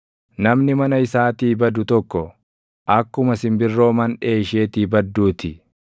Namni mana isaatii badu tokko, akkuma simbirroo manʼee isheetii badduu ti.